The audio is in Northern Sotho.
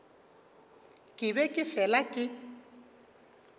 ke be ke fela ke